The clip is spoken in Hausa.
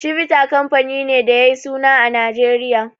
Chivita kamfani ne da yayi suna a Nijeriya.